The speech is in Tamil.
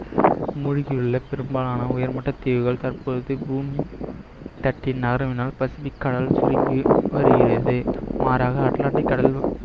மூழ்கியுள்ள பெரும்பாலான உயர்மட்ட தீவுகள் தற்பொழுது பூமி தட்டி நாறுவனால் பசிபிக் கடல் சுருங்கி வருகிறது மாறாக அட்லாண்டிக் கடல்